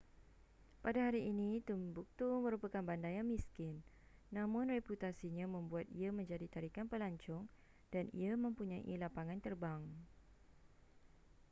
pada hari ini timbuktu merupakan bandar yang miskin namun reputasinya membuat ia menjadi tarikan pelancong dan ia mempunyai lapangan terbang